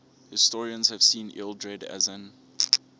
historians have seen ealdred as an